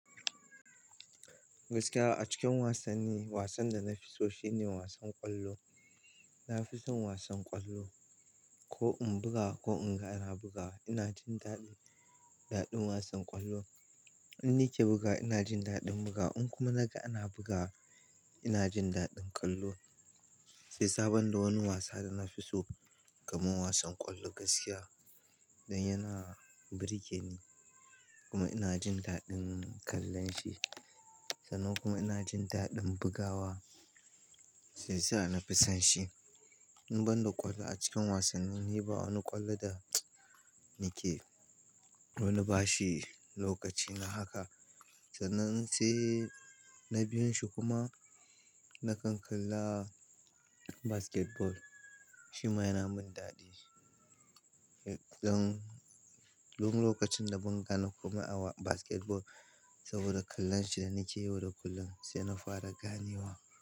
Gaskiya a cikin wasanni, wasan da na fi so shine wasan ƙwallo. Na fi son wasan ƙwallo. Ko in buga ko in ga ana bugawa, ina jin daɗin, daɗin wasan ƙwallo. Inni ke bugawa ina jin daɗin bugawa in kuma naga ana bugawa ina jin daɗin kallo. Shi yasa ban da wani wasa da na fi so kamar wasan ƙwallo gaskiya dan yana burge ni kuma ina jin daɗin kallon shi. Sannan kuma ina jin daɗin bugawa shi yasa na fi son shi. In banda ƙwallo a cikin wasanni, ni ba wani ƙwallo da nake, na ba shi lokaci na haka. Sannan sai na biyun shi kuma na kan kalla basketball, shi ma yana min daɗi. Yanzu, dun lokacin da zan gane komai a wa basketball saboda kallon shi da nake yi yau da kullun sai na fara ganewa.